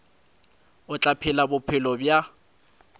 o tla phela bophelo bja